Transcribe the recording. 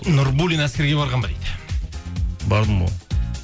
нурбуллин әскерге барған ба дейді бардым ғой